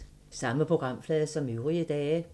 Samme programflade som øvrige dage